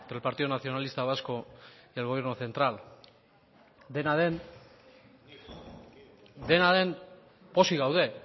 entre el partido nacionalista vasco y el gobierno central dena